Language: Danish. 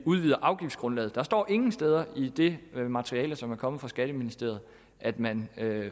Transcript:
udvider afgiftsgrundlaget der står ingen steder i det materiale som er kommet fra skatteministeriet at man